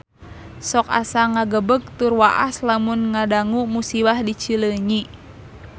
Sok asa ngagebeg tur waas lamun ngadangu musibah di Cileunyi